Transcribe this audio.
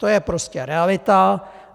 To je prostě realita.